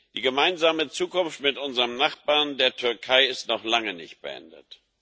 Die gemeinsame Zukunft mit unserem Nachbarn, der Türkei, ist noch lange nicht beendet.